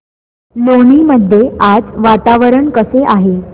लोणी मध्ये आज वातावरण कसे आहे